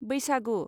बैसागु